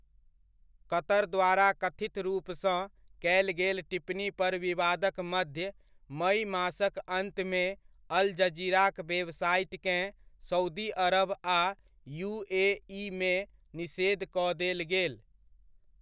कतर द्वारा कथित रूपसँ कयल गेल टिप्पणी पर विवादक मध्य मइ मासक अन्तमे अल जजीराक वेबसाइटकेँ सउदी अरब आ यूएइमे निषेध कऽ देल गेल।